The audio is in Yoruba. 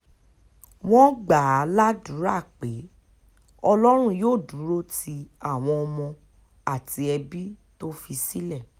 wọ́n gbà á ládùúrà pé ọlọ́run yóò dúró ti àwọn ọmọ àti ẹbí tó fi sílẹ̀